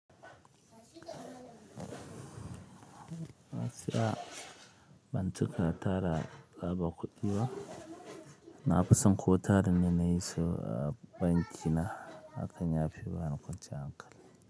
Asiya, ban taɓa tara ba ba kuɗi ba. Na fi son ko tarin ne na yi sa a banki na hakan ya fi bani kwanciyan hankali.